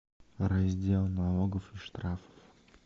раздел налогов и штрафов